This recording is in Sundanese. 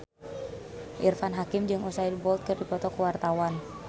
Irfan Hakim jeung Usain Bolt keur dipoto ku wartawan